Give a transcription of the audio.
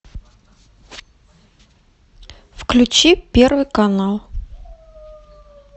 включи первый канал